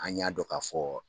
An y'a dɔn k'a fɔ